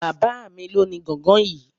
Bàbá mí lo ní gángan yìí